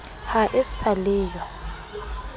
ha e sa le yo